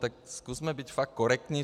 Tak zkusme být fakt korektní.